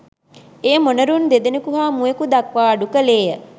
එය මොනරුන් දෙදෙනෙකු හා මුවෙකු දක්වා අඩු කළේ ය.